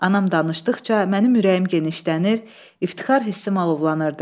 Anam danışdıqca mənim ürəyim genişlənir, iftixar hissim alovlanırdı.